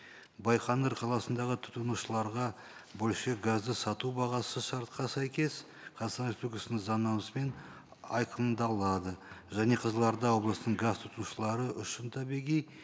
байқоңыр қаласындағы тұтынушыларға бөлшек газды сату бағасы шартқа сәйкес қазақстан республикасының заңнамасымен айқындалады және қызылорда облысының газ тұтынушылары үшін табиғи